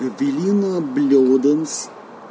эвелина блёданс